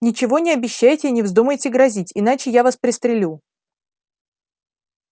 ничего не обещайте и не вздумайте грозить иначе я вас пристрелю